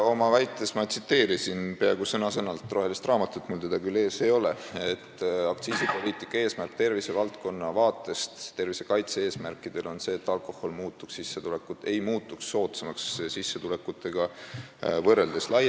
Oma väites ma tsiteerisin peaaegu sõna-sõnalt rohelist raamatut – mul seda küll ees ei ole –, et aktsiisipoliitika eesmärk tervisevaldkonna vaatest, tervisekaitse eesmärkidest lähtudes on see, et alkohol ei muutuks sissetulekutega võrreldes soodsamaks.